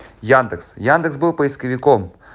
яндекс яндекс был поисковиком